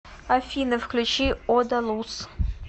афина включи одалус